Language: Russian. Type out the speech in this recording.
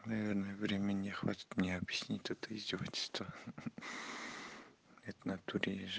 наверное времени не хватит мне объяснить это издевательства это в натуре есть же